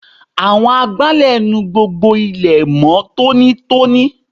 Àwọn agbálẹ̀ nu gbogbo ilẹ̀ mó tónítóní.